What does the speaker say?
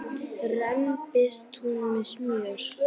rembist hún með smjör.